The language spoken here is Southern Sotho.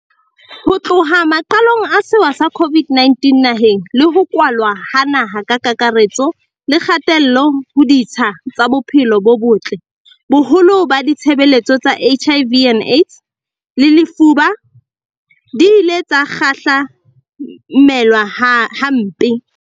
Ho tloha maqalong a sewa sa COVID-19 naheng, le ho kwalwa ha naha ka kakare-tso le kgatello ho ditsha tsa bophelo bo botle, boholo ba ditshebeletso tsa HIV, AIDS le lefuba, di ile tsa kgahla-melwa hampe.